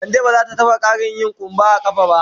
Ka de ba za ta taba yin ƙarin kumba a kafa ba.